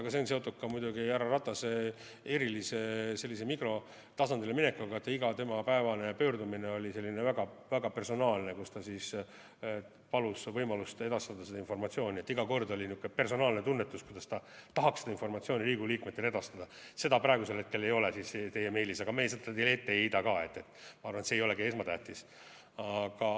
Aga see on seotud ka muidugi härra Ratase erilise sellise mikrotasandile minekuga, iga tema igapäevane pöördumine oli selline väga-väga personaalne, kus ta palus võimalust edastada seda informatsiooni, et iga kord oli niisugune personaalne tunnetus, kuidas ta tahaks seda informatsiooni Riigikogu liikmetele edastada – seda praegusel hetkel ei ole teie meilis, aga me seda teile ette ei heida ka, ma arvan, et see ei olegi esmatähtis.